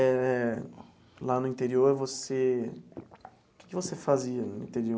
Eh lá no interior, você, o que que você fazia no interior?